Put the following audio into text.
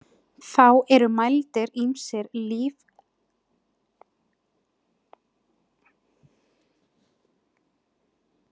Þá eru mældir ýmsir lífeðlisfræðilegir þættir, þar á meðal heilarit, vöðvaspenna, öndun og hjartarit.